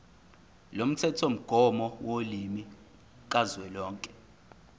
lomthethomgomo wolimi kazwelonke